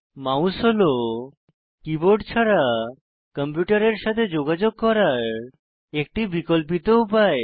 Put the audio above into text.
mouse হল keyboard ছাড়া কম্পিউটারের সাথে যোগাযোগ করার একটি বিকল্পিত উপায়